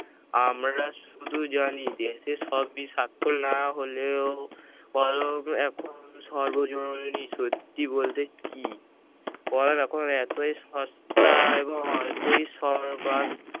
আমরা শুধু জানি দেশে সবই সাক্ষর না হলেও কলম এখন সর্বজরুরি সত্যি বলতে কি কলম এখন এতই সস্তা এবং এতই সর্বাঙ্গ~